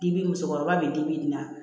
Dibi musokɔrɔba be dibi nin na